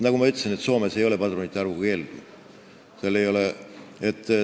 Nagu ma ütlesin, Soomes ei ole padrunite arvu piirangut.